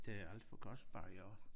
Det er alt for kostbar i år